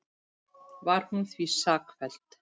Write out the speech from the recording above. Var hún því sakfelld